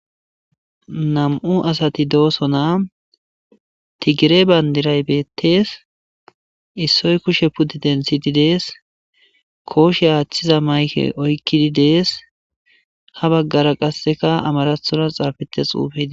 nam7u asati doosona tigire bayndiray beettes issoy kushe puddi densididees kooshe aachchiza mayke oykkidi dees ha baggara qasseka amarathonas xaafetes xuufeidi